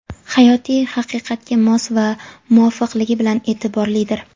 hayotiy haqiqatga mos va muvofiqligi bilan e’tiborlidir.